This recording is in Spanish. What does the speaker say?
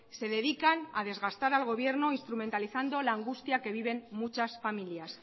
se dedican a desgastar al gobierno instrumentalizando la angustia que viven muchas familias